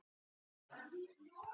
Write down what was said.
Sesselja kom inn.